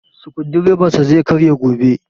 Sukudireban sa zai karye gobe